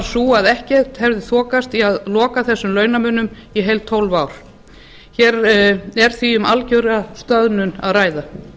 sú að ekkert hefði þokast í að loka þessum launamun í heil tólf ár hér er því um algjöra stöðnun að ræða